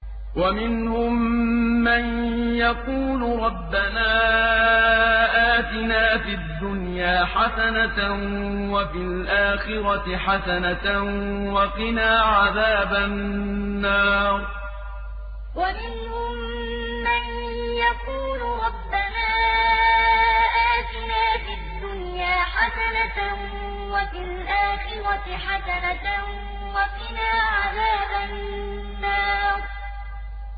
وَمِنْهُم مَّن يَقُولُ رَبَّنَا آتِنَا فِي الدُّنْيَا حَسَنَةً وَفِي الْآخِرَةِ حَسَنَةً وَقِنَا عَذَابَ النَّارِ وَمِنْهُم مَّن يَقُولُ رَبَّنَا آتِنَا فِي الدُّنْيَا حَسَنَةً وَفِي الْآخِرَةِ حَسَنَةً وَقِنَا عَذَابَ النَّارِ